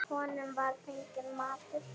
Honum var fenginn matur.